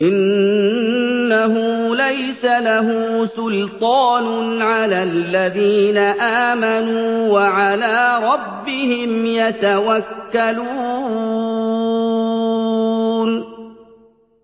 إِنَّهُ لَيْسَ لَهُ سُلْطَانٌ عَلَى الَّذِينَ آمَنُوا وَعَلَىٰ رَبِّهِمْ يَتَوَكَّلُونَ